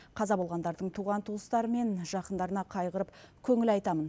қаза болғандардың туған туыстары мен жақындарына қайғырып көңіл айтамын